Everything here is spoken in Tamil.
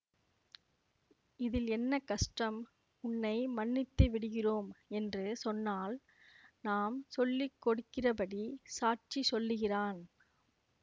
இதில் என்ன கஷ்டம் உன்னை மன்னித்துவிடுகிறோம் என்று சொன்னால் நாம் சொல்லி கொடுக்கிறபடி சாட்சி சொல்லுகிறான்